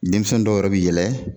Denmisɛn dɔw yɔrɔ bɛ yɛlɛ